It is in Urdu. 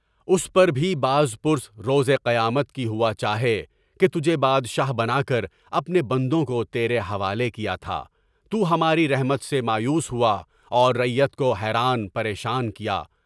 اس پر بھی باز پس روزے قیامت کی ہوا چاہیے کہ تجھے بادشاہ بنا کر اپنے بندوں کو تیرے حوالے کیا تھا، تو ہماری رحمت سے مایوس ہوا اور رعیت کو حیران پریشان کیا۔